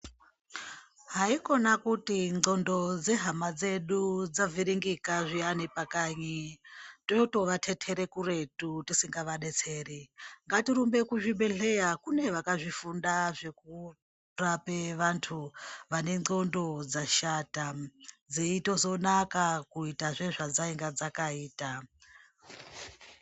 Haikona kuti nzxondo dzehama dzedu dzavhiringika zviya ngepakayi totovatetere kuretu tisangavadetseri, ngatirumbe kuzvibhedhlera kune vakazvifunda zvekurape vantu vane nzxondo dzashata, dzeizotonaka kuita sezvadzainga dzakaita.